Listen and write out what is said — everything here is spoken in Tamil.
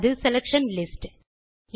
அது செலக்ஷன் லிஸ்ட்ஸ்